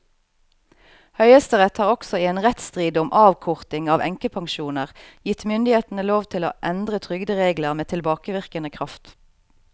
Høyesterett har også i en rettsstrid om avkorting av enkepensjoner gitt myndighetene lov til å endre trygderegler med tilbakevirkende kraft.